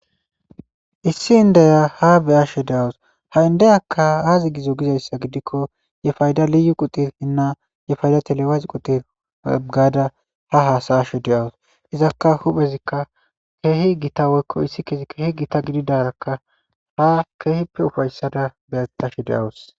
Issi inddiya ha be'she dawusu ha inddeyikka azi gizzo gizayssa gidikko ye paydda liyu quttirinna ye payda telewacci quttiri gaada ha hasa'ashe de'awusu iizaka huphphezaka kehi giita woykko ithikey kehi giita giddidaraka ha kehippe uffaetada beashe dawusu.